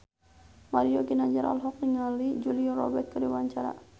Mario Ginanjar olohok ningali Julia Robert keur diwawancara